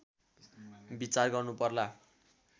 विचार गर्नुपर्ला